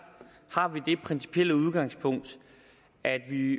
har vi det principielle udgangspunkt at vi